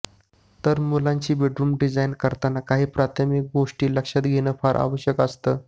तर मुलांची bedroom design करताना काही प्राथमिक गोष्टी लक्षात घेणं फार आवश्यक असतं